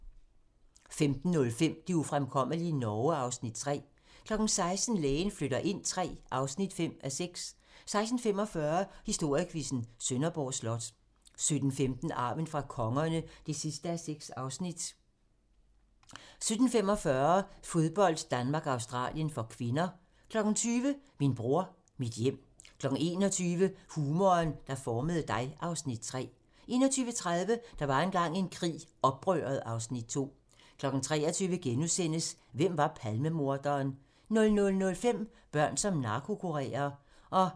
15:05: Det ufremkommelige Norge (Afs. 3) 16:00: Lægen flytter ind III (5:6) 16:45: Historiequizzen: Sønderborg Slot 17:15: Arven fra kongerne (6:6) 17:45: Fodbold: Danmark-Australien (k) 20:00: Min bror, mit hjem 21:00: Humoren, der formede dig (Afs. 3) 21:30: Der var engang en krig - Oprøret (Afs. 2) 23:00: Hvem var Palmemorderen? * 00:05: Børn som narkokurerer